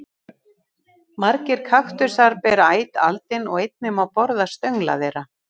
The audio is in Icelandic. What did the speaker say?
Margir kaktusar bera æt aldin og einnig má borða stöngla þeirra.